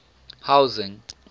housing